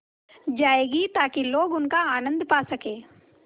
जाएगी ताकि लोग उनका आनन्द पा सकें